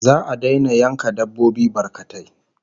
Za'a daina yanka dabbobi barkatai